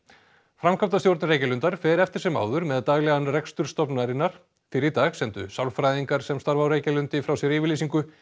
framkvæmdastjórn Reykjalundar fer eftir sem áður með daglegan rekstur stofnunarinnar fyrr í dag sendu sálfræðingar sem starfa á Reykjalundi frá sér yfirlýsingu